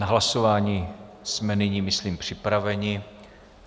Na hlasování jsme nyní, myslím, připraveni.